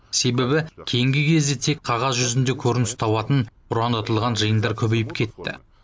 себебі кейінгі кезде тек қағаз жүзінде көрініс табатын ұран айтылған жиындар көбейіп кетті